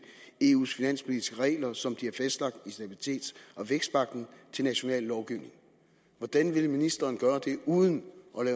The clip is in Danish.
eu’s finanspolitiske regler som de er fastlagt i stabilitets og vækstpagten til national lovgivning hvordan vil ministeren gøre det uden